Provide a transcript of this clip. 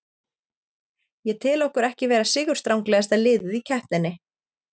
Ég tel okkur ekki vera sigurstranglegasta liðið í keppninni.